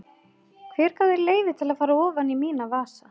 Hver gaf þér leyfi til að fara ofan í mína vasa?